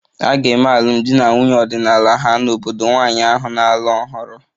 A ga-eme alụmdi na nwunye ọdịnala ha n'obodo nwanyị ahụ na-alụ ọhụrụ